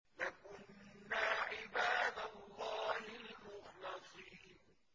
لَكُنَّا عِبَادَ اللَّهِ الْمُخْلَصِينَ